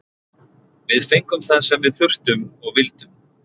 Við fengum það sem við þurftum og vildum.